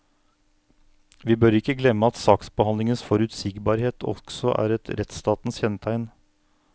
Vi bør ikke glemme at saksbehandlingens forutsigbarhet også er et rettsstatens kjennetegn.